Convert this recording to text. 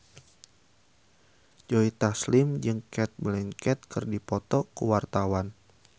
Joe Taslim jeung Cate Blanchett keur dipoto ku wartawan